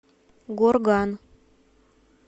горган